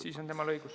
Siis on temal õigus.